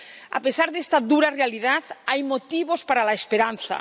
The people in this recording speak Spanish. A pesar de esta dura realidad, hay motivos para la esperanza.